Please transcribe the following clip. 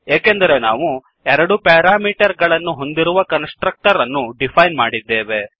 ಏಕೆಂದರೆ ನಾವು ಎರಡು ಪ್ಯಾರಾಮೀಟರ್ ಗಳನ್ನು ಹೊಂದಿರುವ ಕನ್ಸ್ ಟ್ರಕ್ಟರ್ ಅನ್ನು ಡಿಫೈನ್ ಮಾಡಿದ್ದೇವೆ